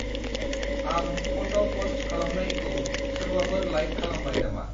आंं फट' पस्ट खालामनायखौ सोरबाफोर लाइक खालामबाय नामा?